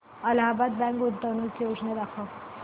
Allahabad bank गुंतवणूक योजना दाखव